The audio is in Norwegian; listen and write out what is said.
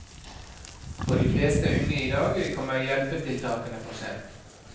For de fleste unge i dag kommer hjelpetiltakene for sent.